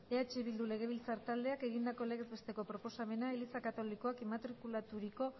eh bildu legebiltzar taldeak egindako legez besteko proposamena eliza katolikoak inmatrikulaturiko